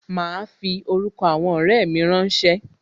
Ma fi orúkọ àwọn ọrẹ mi rán ṣé